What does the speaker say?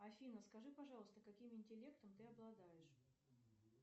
афина скажи пожалуйста каким интеллектом ты обладаешь